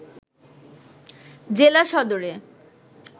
জেলা সদরে